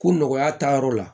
Ko nɔgɔya taa yɔrɔ la